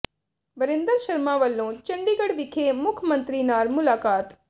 ਵਰਿੰਦਰ ਸ਼ਰਮਾ ਵੱਲੋਂ ਚੰਡੀਗੜ੍ਹ ਵਿਖੇ ਮੁੱਖ ਮੰਤਰੀ ਨਾਲ ਮੁਲਾਕਾਤ